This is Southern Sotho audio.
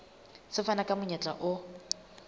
se fana ka monyetla o